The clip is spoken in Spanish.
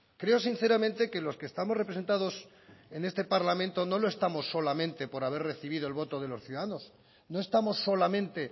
creo sinceramente que los que estamos representados en este parlamento no lo estamos solamente por haber recibido el voto de los ciudadanos no estamos solamente